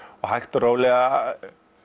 hægt og rólega